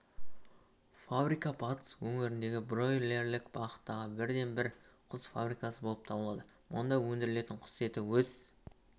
фабрика батыс өңіріндгі бройлерлік бағыттағы бірден-бір құс фабрикасы болып табылады мұнда өндірілген құс еті өз